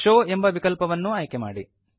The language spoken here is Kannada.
ಶೋವ್ ಎಂಬ ವಿಕಲ್ಪವನ್ನೂ ಆಯ್ಕೆ ಮಾಡಿ